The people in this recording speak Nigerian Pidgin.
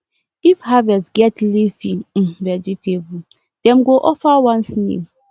if harvest get leafy um vegetable dem go offer one snail